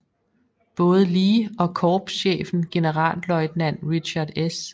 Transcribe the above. Både Lee og korpschefen generalløjtnant Richard S